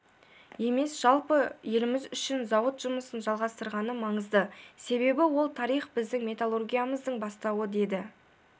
емес жалпы еліміз үшін зауыт жұмысын жалғастырғаны маңызды себебі ол тарих біздің металлургиямыздың бастауы деді